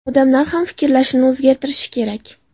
Odamlar ham fikrlashini o‘zgartirishi kerak.